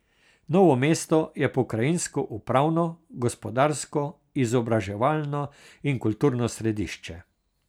Novo mesto je pokrajinsko upravno, gospodarsko, izobraževalno in kulturno središče.